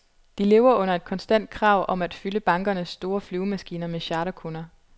De lever under et konstant krav om at fylde bankernes store flyvemaskiner med charterkunder.